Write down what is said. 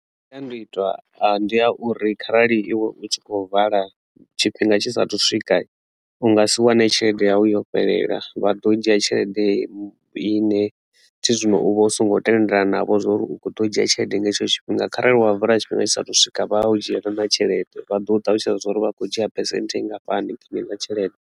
Masiandoitwa a ndi a uri kharali iwe u tshi khou vala tshifhinga tshisa thu swika u nga si wane tshelede yawu yo fhelela vha ḓo dzhia tshelede ine thi zwino u vha u songo tendelana navho zwa uri u kho ḓo dzhia tshelede nga hetsho tshifhinga kharali wa vala tshifhinga tshisa thu swika vha u dzhiela na tshelede vha ḓo ṱalutshedza zwa uri vha kho dzhia phesenthe ngafhani kha heneiḽa tshelede.